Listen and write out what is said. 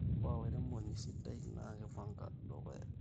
ore olairemoni sidai na kipanga dukuya